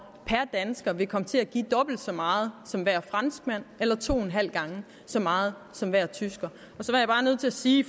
dansker vil komme til at give dobbelt så meget som hver franskmand eller to en halv gang så meget som hver tysker og så er jeg bare nødt til at sige i